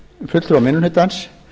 fulltrúar minni hlutans